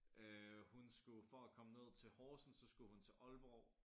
Øh hun skulle for at komme ned til Horsens så skulle hun til Aalborg